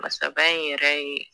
Masaba in yɛrɛ ye.